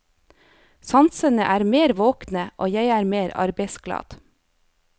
Sansene er mer våkne, og jeg er mer arbeidsglad.